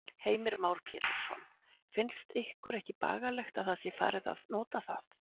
Heimir Már Pétursson: Finnst ykkur ekki bagalegt að það sé ekki farið að nota það?